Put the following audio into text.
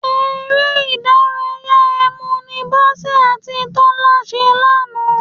Eré ìdárayá ẹ̀mù ni Bọ́sẹ̀ àti Tọ́lá ṣe lánàá